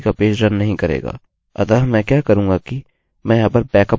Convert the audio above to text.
अतः मैं क्या करूँगा किमैं यहाँ पर बैकअप खोलूँगा